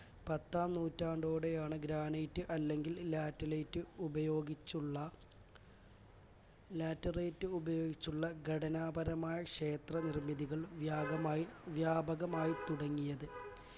പത്താം നൂറ്റാണ്ടോടെയാണ് granite അല്ലെങ്കിൽ laterite ഉപയോഗിച്ചുള്ള laterite ഉപയോഗിച്ചുള്ള ഘടനാപരമായ ക്ഷേത്ര നിർമ്മിതികൾ വ്യാപകമായി വ്യാപകമായിത്തുടങ്ങിയത്